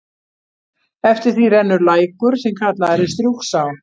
Eftir því rennur lækur, sem kallaður er Strjúgsá.